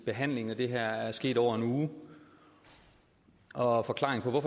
behandlingen af det her er sket over en uge og forklaringen på